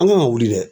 An kan ka wuli dɛ